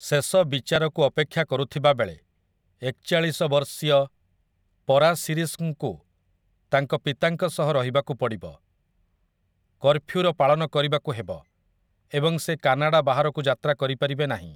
ଶେଷ ବିଚାରକୁ ଅପେକ୍ଷା କରୁଥିବାବେଳେ, ଏକଚାଳିଶ ବର୍ଷୀୟ ପରାସିରିସ୍‌ଙ୍କୁ ତାଙ୍କ ପିତାଙ୍କ ସହ ରହିବାକୁ ପଡ଼ିବ, କର୍ଫ୍ୟୁର ପାଳନ କରିବାକୁ ହେବ ଏବଂ ସେ କାନାଡା ବାହାରକୁ ଯାତ୍ରା କରିପାରିବେ ନାହିଁ ।